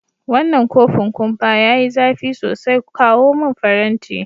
Wanan kofin kumpa ya yi zafi sosai, kawo mun farenti.